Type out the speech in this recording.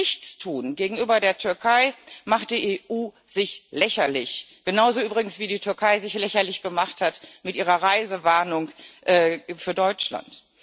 Aber mit Nichtstun gegenüber der Türkei macht die EU sich lächerlich genauso übrigens, wie die Türkei sich lächerlich gemacht hat mit ihrer Reisewarnung für Deutschland.